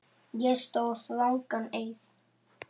Ég sór rangan eið.